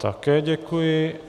Také děkuji.